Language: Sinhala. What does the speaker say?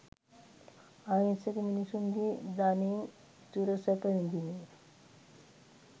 අහිංසක මිනිසුන්ගේ ධනයෙන් සුරසැප විඳිමින්